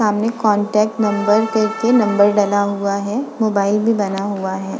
सामने contact number करके number डाला हुआ है। मोबाईल भी बना हुआ है।